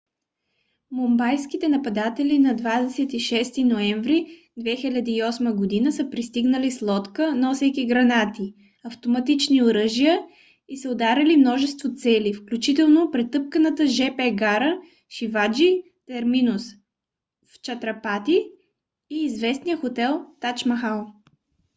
мумбайските нападатели на 26 ноември 2008 г. са пристигнали с лодка носейки гранати автоматични оръжия и са ударили множество цели включително претъпканата жп гара шиваджи терминус в чатрапати и известния хотел тадж махал